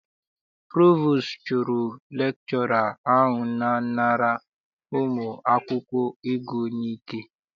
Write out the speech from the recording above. Provostu chụrụ lekchọra ahụ na-anara ụmụ akwụkwọ ego n'ike.